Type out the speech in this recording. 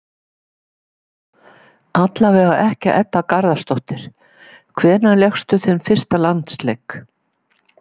Allavega ekki Edda Garðarsdóttir Hvenær lékstu þinn fyrsta landsleik?